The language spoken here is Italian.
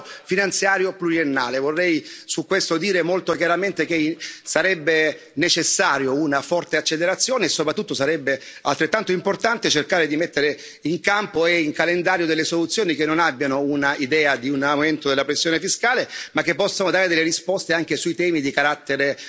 Per quanto riguarda il Quadro finanziario pluriennale, vorrei dire molto chiaramente che sarebbe necessaria una forte accelerazione e, soprattutto, sarebbe altrettanto importante cercare di mettere in campo e in calendario delle soluzioni che non abbiano un'idea di un aumento della pressione fiscale, ma che possano dare delle risposte anche sui temi di carattere